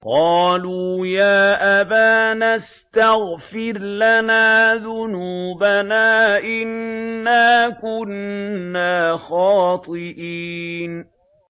قَالُوا يَا أَبَانَا اسْتَغْفِرْ لَنَا ذُنُوبَنَا إِنَّا كُنَّا خَاطِئِينَ